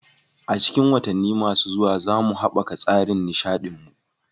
A cikin watanni masu zuwa, za mu haɓaka tsarin nishaɗin mu.